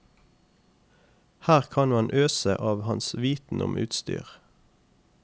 Her kan man bare øse av hans viten om utstyr.